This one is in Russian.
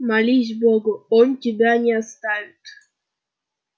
молись богу он тебя не оставит